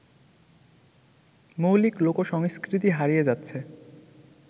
মৌলিক লোকসংস্কৃতি হারিয়ে যাচ্ছে